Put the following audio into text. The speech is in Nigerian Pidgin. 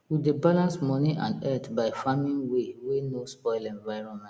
we dey balance money and earth by farming way wey no spoil environment